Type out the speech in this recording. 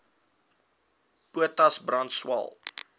potas brand swael